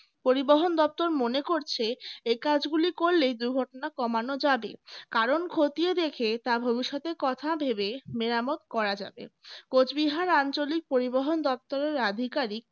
পরিবহন দপ্তর মনে করছে এ কাজগুলি করলেই দুর্ঘটনা কমানো যাবে কারণ খতিয়ে দেখে তা ভবিষ্যতের কথা ভেবে মেরামত করা যাবে কোচবিহার আঞ্চলিক পরিবহন দপ্তরের আধিকারিক